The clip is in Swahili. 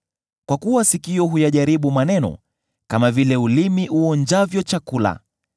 Kwa kuwa sikio huyajaribu maneno kama vile ulimi uonjavyo chakula.